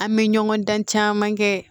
An bɛ ɲɔgɔn dan caman kɛ